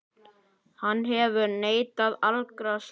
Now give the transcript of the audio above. Hann hefur neitað allri sök.